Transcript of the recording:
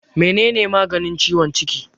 Mene ne maganin ciwon ciki?